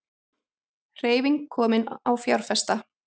Hreyfing komin á fjárfesta